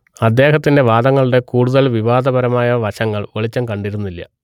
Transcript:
അദ്ദേഹത്തിന്റെ വാദങ്ങളുടെ കൂടുതൽ വിവാദപരമായ വശങ്ങൾ വെളിച്ചം കണ്ടിരുന്നില്ല